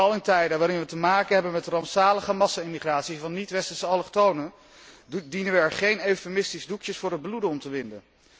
Vooral in tijden waarin wij te maken hebben met rampzalige massa immigratie van niet westerse allochtonen dienen wij er geen eufemistische doekjes voor het bloeden om te winden.